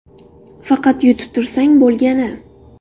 Faqat yutib tursang bo‘lgani.